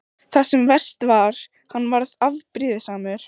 Það sem verst var: hann varð afbrýðisamur.